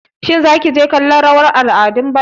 Shin Zaki je kallon rawar al'adu?